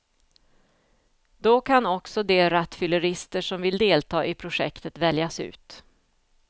Då kan också de rattfyllerister som vill delta i projektet väljas ut.